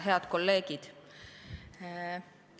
Head kolleegid!